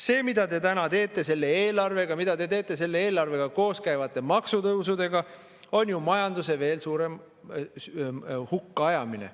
" See, mida te täna teete selle eelarvega, mida te teete selle eelarvega koos käivate maksutõusudega, on ju majanduse veel suurem hukka ajamine.